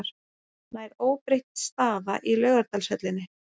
Nær óbreytt staða í Laugardalshöllinni